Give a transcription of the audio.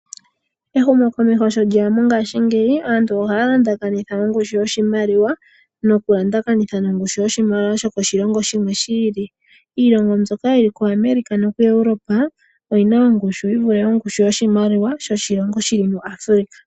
Ehumo komeho sho lyeya mongashingeyi aantu ohaya landakanitha ongushu yoshimaliwa nokulandakanitha nongushu yoshimaliwa yokoshilongo shimwe shi ili. Iilongo mbyoka yili kuAmerica noku Europe oyina ongushu yi vule ongushu yoshimaliwa shoshilongo shili muAfrica.